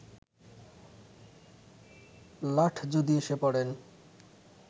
লাট যদি এসে পড়েন